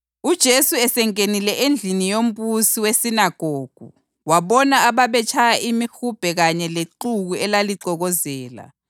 UJesu wathi esengenile endlini yombusi wesinagogu wabona ababetshaya imihubhe kanye lexuku elalixokozela,